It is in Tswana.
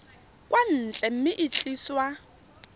kwa ntle mme e tliswa